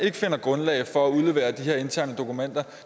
ikke finder grundlag for at udlevere de her interne dokumenter